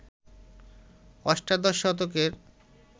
অষ্টাদশ শতকের